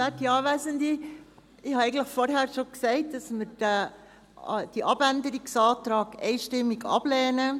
Ich sagte es vorhin schon, dass wir die Abänderungsanträge einstimmig ablehnen.